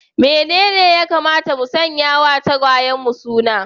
Menene ya kamata mu sanya wa tagwayenmu suna?